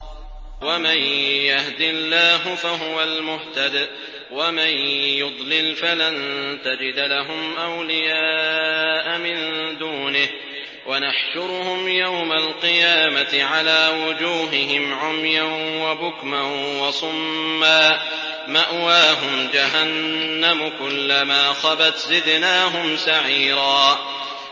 وَمَن يَهْدِ اللَّهُ فَهُوَ الْمُهْتَدِ ۖ وَمَن يُضْلِلْ فَلَن تَجِدَ لَهُمْ أَوْلِيَاءَ مِن دُونِهِ ۖ وَنَحْشُرُهُمْ يَوْمَ الْقِيَامَةِ عَلَىٰ وُجُوهِهِمْ عُمْيًا وَبُكْمًا وَصُمًّا ۖ مَّأْوَاهُمْ جَهَنَّمُ ۖ كُلَّمَا خَبَتْ زِدْنَاهُمْ سَعِيرًا